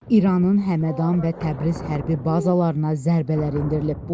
İranın Həmədan və Təbriz hərbi bazalarına zərbələr endirilib.